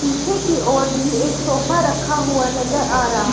पीछे की और भी एक सोफा रखा हुआ नजर आ रहा--